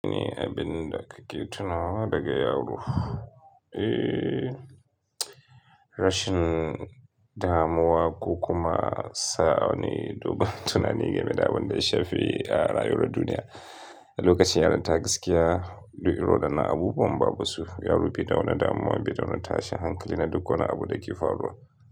Ni abin da kake tunawa daga Yaroh? Eh, rashin damuwa ko ku ma sa'anni, dogon tunani ga me da abin da ya shafi a rayuwar duniya. Lokacin yaranta gaskiya, duk irin wadanan abubuwan ba bu su. Yaro bi da wani damuwa, bi da wani tashin hankali na duk wani abun da ke faruwa.